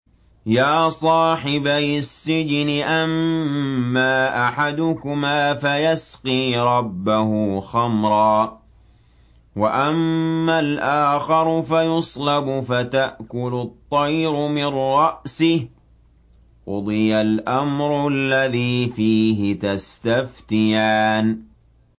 يَا صَاحِبَيِ السِّجْنِ أَمَّا أَحَدُكُمَا فَيَسْقِي رَبَّهُ خَمْرًا ۖ وَأَمَّا الْآخَرُ فَيُصْلَبُ فَتَأْكُلُ الطَّيْرُ مِن رَّأْسِهِ ۚ قُضِيَ الْأَمْرُ الَّذِي فِيهِ تَسْتَفْتِيَانِ